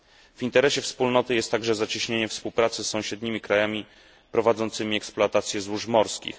W interesie wspólnoty jest także zacieśnienie współpracy z sąsiednimi krajami prowadzącymi eksploatacje złóż morskich.